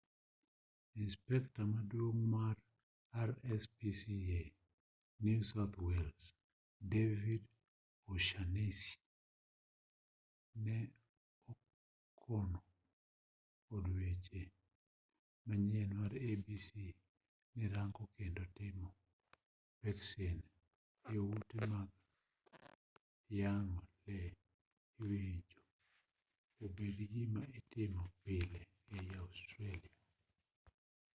inspekta maduong' mar rspca new south wales david o'shannessy ne okono od weche manyien mar abc ni rango kendo timo peksen e ute mag yang'o lee owinjo obedi gima itimo pile ei australia